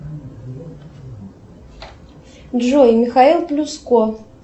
джой михаил плюско